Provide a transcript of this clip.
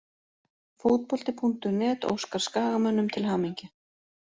Fótbolti.net óskar Skagamönnum til hamingju.